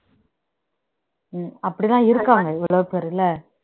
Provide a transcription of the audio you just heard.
உம் அப்படிதான் இருக்காங்க எவ்வளவு பேர் இல்ல